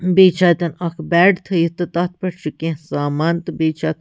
تھٲیِتھ تہٕ تَتھ پٮ۪ٹھ چُھ کیٚنٛہہ سامان تہٕ بیٚیہِ چھ۔۔ بیٚیہِ چھ اَتٮ۪ن اکھ بیڈ